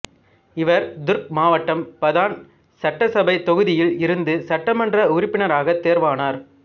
இவர் துர்க் மாவட்டம் பதான் சட்டசபைத் தொகுதியில் இருந்து சட்டமன்ற உறுப்பினராகத் தேர்வானார்